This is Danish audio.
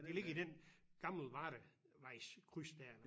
Det ligger i den gammelvardevejs kryds dér